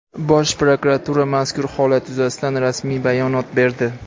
Bosh prokuratura mazkur holat yuzasidan rasmiy bayonot berdi.